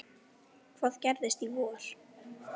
Hvað gerist í vor?